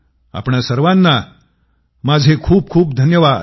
आपणा सर्वांना माझे खूपखूप धन्यवाद